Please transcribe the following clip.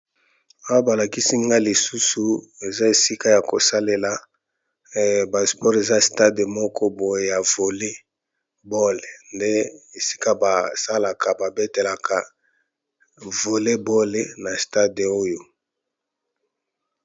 Foto oyo balakisi biso eza stade ya Volley Ball. Ezali esika bato basalaka sport pe ba competitions ya Volley Ball.